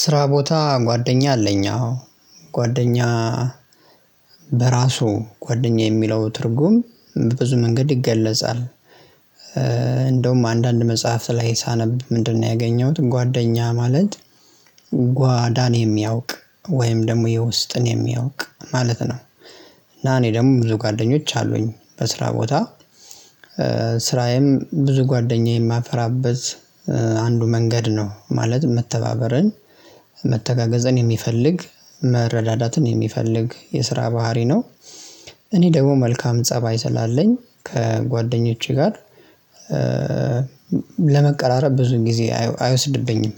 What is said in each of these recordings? ስራ ቦታ ጓደኛ አለኝ አዎ ጓደኛ በራሱ ጓደኛ የሚለው ትርጉም በብዙ መንገድ ይገለጻል። እንደውም አንዳንድ መጽሐፍ ላይ ሳነብ ምንድነው? ያገኘሁት ጓደኛ ማለት ጓዳን የሚያውቅ ወይም ደግሞ የውስጥን የሚያውቅ ማለት ነው። እና እኔ ደግሞ ብዙ ጓደኞች አሉኝ በስራ ቦታ። ስራዬም ብዙ ጓደኛዬን ማፈራበት አንዱ መንገድ ነው ማለት መተባበርን። መተጋገዝን የሚፈልግ መረዳዳትን የሚፈልግ የስራ ባህሪ ነው። እኔ ደግሞ መልካም ፀባይ ስላለኝ ከጓደኞቼ ጋር ለመቀራረብ ብዙን ጊዜ አይወስድብኝም።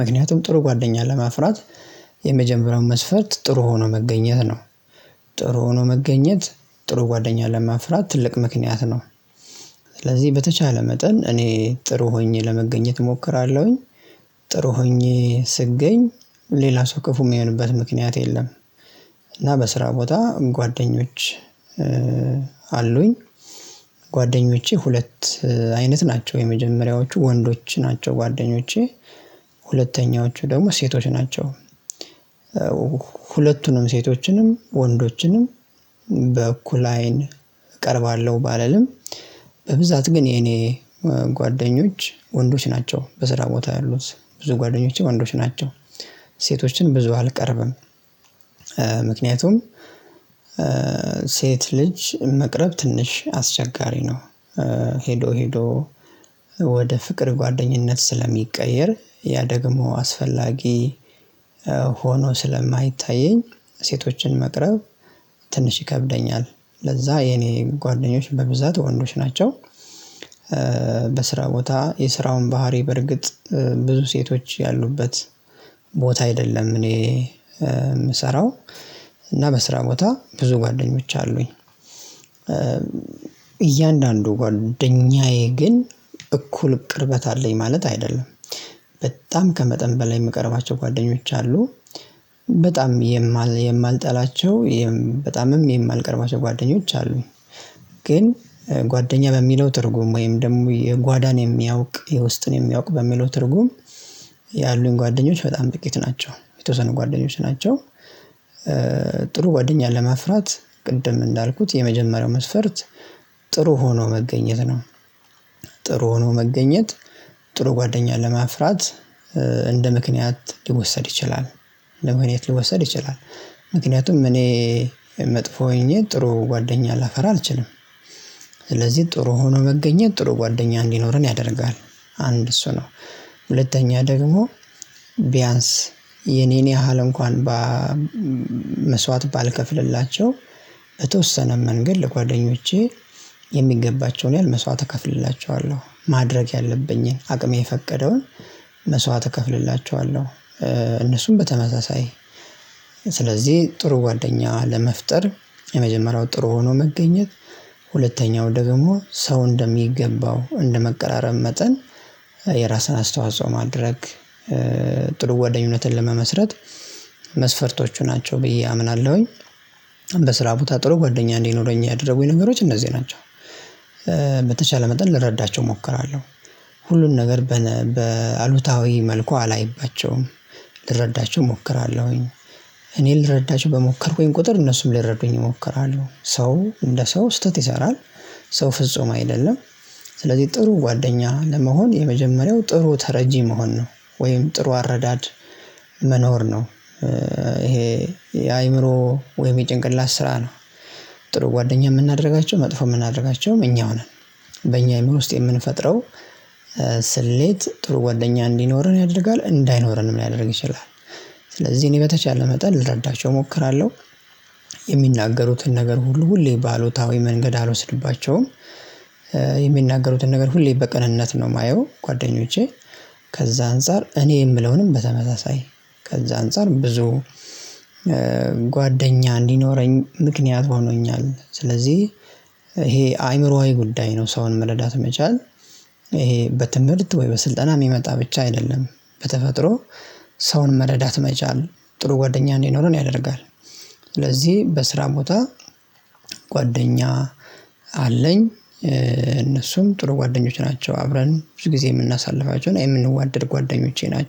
ምክንያቱም ጥሩ ጓደኛ ለማፍራት የመጀመሪያው መስፈርት ጥሩ ሆኖ መገኘት ነው። ጥሩ ሆኖ መገኘት ጥሩ ጓደኛ ለማፍራት ትልቅ ምክንያት ነው። ስለዚህ በተቻለ መጠን እኔ ጥሩ ሆኜ ለመገኘት እሞክራለሁኝ። ጥሩ ሆኜ ስገኝ ሌላ ሰው ክፉ የሚሆንበት ምክንያት የለም። እና በስራ ቦታ ጓደኞች አሉኝ። ጓደኞቼ ሁለት አይነት ናቸው የመጀመሪያዎቹ ወንዶች ናቸው ጓደኞቼ ሁለተኛዎቹ ደግሞ ሴቶች ናቸው። ሁለቱንም ሴቶችንም ወንዶችንም በእኩል አይን እቀርባለሁ ባልልም። በብዛት ግን የኔ ጓደኞች ወንዶች ናቸው በስራ ቦታ ያሉት ብዙ ጓደኞቼ ወንዶች ናቸው። ሴቶችን ብዙ አልቀርብም። ምክንያቱም ሴት ልጅ መቅረብ ትንሽ አስቸጋሪ ነው። ሄዶ ሄዶ ወደ ፍቅር ጓደኝነት ስለሚቀየር ያ ደግሞ አስፈላጊ ሆኖ ስለማይታየኝ ሴቶችን መቅረብ ትንሽ ይከብደኛል ለዛ የኔ ጓደኞች በብዛት ወንዶች ናቸው። በስራ ቦታ የስራውን ባህሪ በርግጥ ብዙ ሴቶች ያሉበት ቦታ አይደለም እኔ የምሰራው። እና በስራ ቦታ ብዙ ጓደኞች አሉኝ። እያንዳንዱ ጓደኛዬ ግን እኩል ቅርበት አለኝ ማለት አይደለም። በጣም ከመጠን በላይ የምቀርባቸው ጓደኞች አሉ። በጣም የማልጠላቸው በጣምም የማልቀርባቸው ጓደኞች አሉ። ግን ጓደኛ ለሚለው ትርጉም ወይም ደግሞ የጓዳን የሚያውቅ የውስጥን የሚያውቅ በሚለው ትርጉም። ያሉኝ ጓደኞች በጣም ጥቂት ናቸው የተወሰኑ ጓደኞች ናቸው። ጥሩ ጓደኛ ለማፍራት ቅድም እንዳልኩት የመጀመሪያው መስፈርት ጥሩ ሆኖ መገኘት ነው። ጥሩ ሆኖ መገኘት ጥሩ ጓደኛ ለማፍራት። እንደ ምክንያት ሊወሰድ ይችላል እንደ ምክንያት ሊወሰድ ይችላል። ምክንያቱም እኔ መጥፎ ሆኜ ጥሩ ጓደኛ ላፈራ አልችልም። ስለዚህ ጥሩ ሆኖ መገኘት ጥሩ ጓደኛ እንዲኖረን ያደርጋል አንድ እሱ ነው። ሁለተኛ ደግሞቢያንስ የኔን ያህል እንኳን በመስዋዕት ባልከፍልላቸው በተወሰነ መንገድ ለጓደኞቼ የሚገባቸውን ያህል መስዋዕት እከፍልላቸዋለሁ ማድረግ ያለብኝን አቅሜ የፈቀደውን መስዋዕት እከፍልላቸዋለሁ። እነሱም በተመሳሳይ ስለዚህ ጥሩ ጓደኛ ለመፍጠር የመጀመሪያው ጥሩ ሆኖ መገኘት። ሁለተኛው ደግሞ ሰው እንደሚገባው እንደመቀራረብ መጠን የራስህን አስተዋጽኦ ማድረግ ጥሩ ጓደኝነትን ለመመስረት መስፈርቶቹ ናቸው ብዬ አምናለሁኝ። በስራ ቦታ ጥሩ ጓደኛ እንዲህ ኖረኝ ያደረጉኝ ነገሮች እነዚህ ናቸው። በተቻለ መጠን ልረዳቸው እሞክራለሁ። ሁሉን ነገር በአሉታዊ መልኩ አላይባቸውም ልረዳቸው እሞክራለሁኝ። እኔ ልረዳችሁ በሞከርኩኝ ቁጥር እነሱም ልረዱኝ ይሞክራሉ ሰው እንደ ሰው ስህተት ይሰራል። ሰው ፍጹም አይደለም። ስለዚህ ጥሩ ጓደኛ ለመሆን የመጀመሪያው ጥሩ ተረጂ መሆን ነው። ወይም ጥሩ አረዳድ መኖር ነው። ይሄ የአእምሮ ወይም የጭንቅላት ስራ ነው። ጥሩ ጓደኛ የምናደርጋቸው መጥፎ የምናደርጋቸውም እኛው ነን። በእኛ የሚል ውስጥ የምንፈጥረው ስሌት ጥሩ ጓደኛ እንዲኖርህ ያደርጋል እንዳይኖረንም ሊያደርግ ይችላል። ስለዚህ እኔ በተቻለ መጠን ልረዳቸው እሞክራለሁ። የሚናገሩትን ነገር ሁሉ ሁሌ ባሉታዊ መንገድ አልወስድባቸውም። ነገር ሁሌ በቅንነት ነው የማየው ጓደኞቼ። ከዛ አንፃር እኔ የምለውንም በተመሳሳይ ከዛ አንፃር ብዙ ጓደኛ እንዲኖረኝ ምክንያት ሆኖኛል። ስለዚህ ይሄ አይምሮአዊ ጉዳይ ነው ሰውን መረዳት መቻል። ይሄ በትምህርት ወይ በስልጠና የሚመጣ ብቻ አይደለም። በተፈጥሮ ሰውን መረዳት መቻል ጥሩ ጓደኛ እንዴት ነው ያደርጋል። ስለዚህ በስራ ቦታ ጓደኛ አለኝ እነሱም ጥሩ ጓደኞች ናቸው። አብረን ብዙ ጊዜ የምናሳልፋቸውን የምንዋደድ ጓደኞቼ ናቸው